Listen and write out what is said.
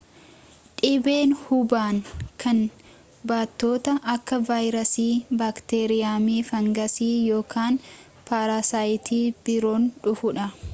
dhibeen hubaan kan baattota akka vaayirasii baakteeriyeemi faangasii yookaan paarasayiiti biroon dhufudha